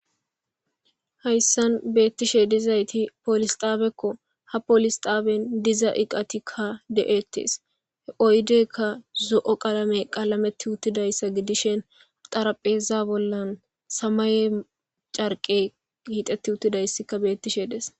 hayssan beettishe dizayti poolis xaabekko ha poolis xaaben diza iqatikka de7ettes he oydeykka zo7o qalame qalametti uttidayssa gidishen xarapheza bollan samaye carqe hiqetti uttidayssika bettishe des